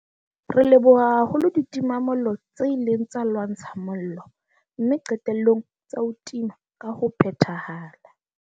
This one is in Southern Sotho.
Re leboha haholo ditimamollo tse ileng tsa lwantsha mollo mme qetellong tsa o tima ka ho phethahala.